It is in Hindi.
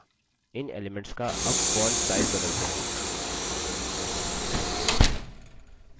अगला इन elements का अब font sizes बदलते हैं